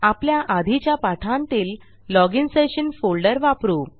आपल्या आधीच्या पाठांतील लॉजिन सेशन फोल्डर वापरू